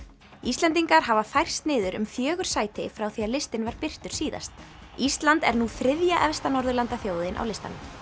Íslendingar hafa færst niður um fjögur sæti frá því að listinn var birtur síðast ísland er nú þriðja efsta norðurlandaþjóðin á listanum